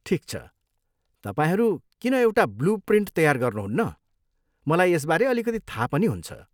ठिक छ, तपाईँहरू किन एउटा ब्लू प्रिन्ट तयार गर्नुहुन्न, मलाई यसबारे अलिकति थाहा पनि हुन्छ।